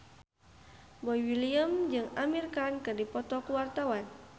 Boy William jeung Amir Khan keur dipoto ku wartawan